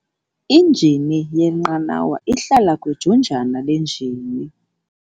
Injini lenqanawa ihlala kwijunjana lenjini.